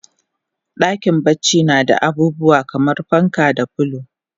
Dakin bacci nada abubuwa kaman fanka da filo